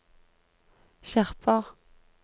skjerper